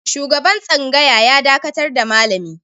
Shugaban tsangaya ya dakatar da malami.